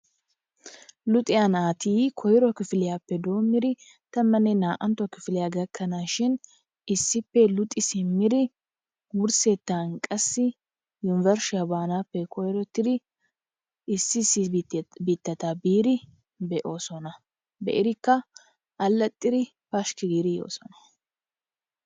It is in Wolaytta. Luxxiyaa natti koyro kifilyappe dommidi tammane na'antto kifiliyaa gakanashin issippe luxi simmidi wursettan qassi unburshiyaa banappe koyrottiddi issi issi bittattaa biddi be'osonna, be'idikkaa, alaxiddi pashiki giddi yosonna.